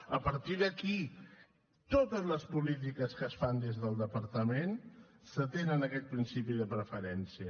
a partir d’aquí totes les polítiques que es fan des del departament s’atenen a aquest principi de preferència